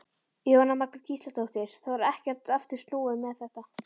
Jóhanna Margrét Gísladóttir: Það var ekkert aftur snúið með þetta?